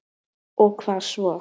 Og hvað svo?